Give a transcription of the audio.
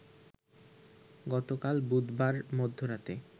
গতকাল বুধবার মধ্যরাতে